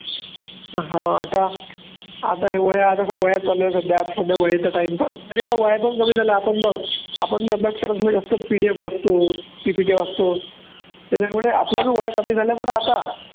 हा आता आता ह्या वह्या वह्या चालू आहे सध्या सध्या वह्यांचा time pass तरी वह्या पण कमी झाल्या आपण पण बघ आपण बी अभ्यास करत असतो PDF वाचतो PPT वाचतो त्याच्यामुळे आपल्या पण वह्या कमी झाल्या बरं आता